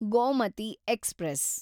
Gomti express